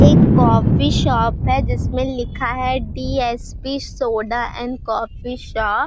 एक coffee shop है जिसमे लिखा है DSP soda and coffee shop --